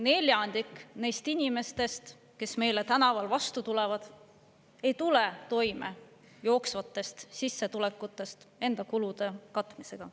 Neljandik neist inimestest, kes meile tänaval vastu tulevad, ei tule toime jooksvatest sissetulekutest enda kulude katmisega.